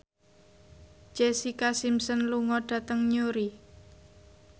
Jessica Simpson lunga dhateng Newry